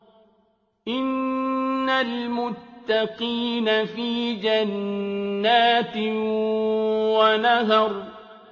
إِنَّ الْمُتَّقِينَ فِي جَنَّاتٍ وَنَهَرٍ